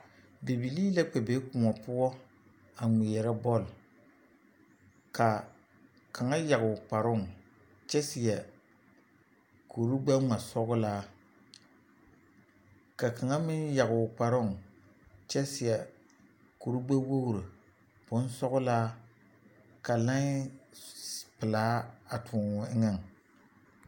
Bibilii la kpɛ be koɔ poɔ a ŋmeɛrɛ bɔle ka kaŋa yage o kparoŋ kyɛ seɛ kurigbɛŋmasɔglaa ka kaŋa meŋ yage o kparoŋ kyɛ seɛ kurigbɛwogri bonsɔglaa ka laen pelaa a toɔ o eŋɛŋ.